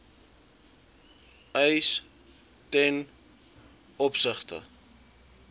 eis ten opsigte